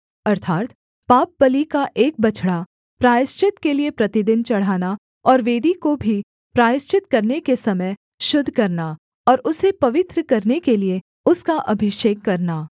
अर्थात् पापबलि का एक बछड़ा प्रायश्चित के लिये प्रतिदिन चढ़ाना और वेदी को भी प्रायश्चित करने के समय शुद्ध करना और उसे पवित्र करने के लिये उसका अभिषेक करना